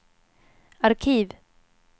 arkiv